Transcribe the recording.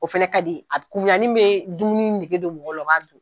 O fana ka di a kunmuyanin bɛ dumuni nege don mɔgɔw la u b'a dun.